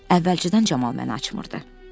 Əvvəlcədən Camal məni açmırdı.